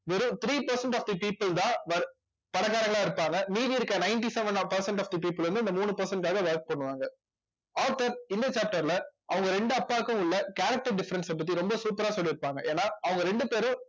வெறும் three percent of the people தான் பணக்காரங்களா இருப்பாங்க மீதி இருக்கிற ninety seven of percent of the people வந்து இந்த மூணு percent க்காக work பண்ணுவாங்க author இந்த chapter ல அவங்க ரெண்டு அப்பாவுக்கும் உள்ள character difference அ பத்தி ரொம்ப super ஆ சொல்லியிருப்பாங்க ஏன்னா அவங்க ரெண்டு பேரும்